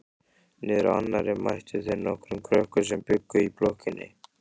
Niðrá annarri mættu þeir nokkrum krökkum sem bjuggu í blokkinni.